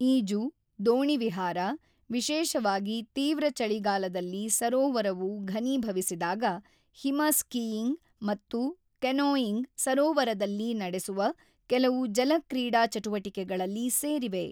ಈಜು, ದೋಣಿ ವಿಹಾರ, ವಿಶೇಷವಾಗಿ ತೀವ್ರ ಚಳಿಗಾಲದಲ್ಲಿ ಸರೋವರವು ಘನೀಭವಿಸಿದಾಗ ಹಿಮ ಸ್ಕೀಯಿಂಗ್ ಮತ್ತು ಕೆನೋಯಿಂಗ್ ಸರೋವರದಲ್ಲಿ ನಡೆಸುವ ಕೆಲವು ಜಲ ಕ್ರೀಡಾ ಚಟುವಟಿಕೆಗಳಲ್ಲಿ ಸೇರಿವೆ.